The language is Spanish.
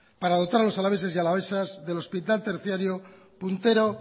para dotar a los alaveses y alavesas del hospital terciario puntero